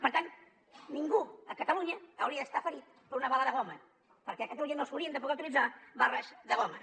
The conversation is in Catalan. per tant ningú a catalunya hauria d’estar ferit per una bala de goma perquè a catalunya no s’haurien de poder utilitzar bales de goma